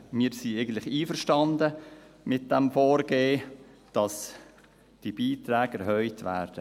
Wir sind eigentlich einverstanden mit dem Vorgehen, dass die Beiträge erhöht werden.